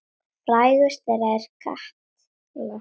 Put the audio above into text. Frægust þeirra er Katla.